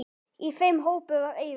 Í þeim hópi var Eiður.